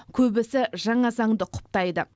көбісі жаңа заңды құптайды